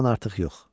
Ondan artıq yox.